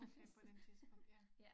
Okay på den tidspunkt ja